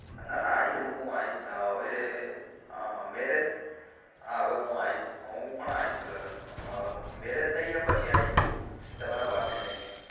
ના ના આઈસુ હું આઈસ હવે marriage થઇ જાય પછી આઈસ તમારા ભાભી